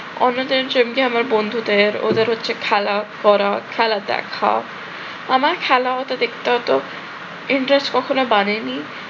অন্য tension কি আমার বন্ধুদের ওদের হচ্ছে খেলা পড়া খেলা দেখা আমার খেলা হয়তো দেখতে অত interest কখনো বাড়েনি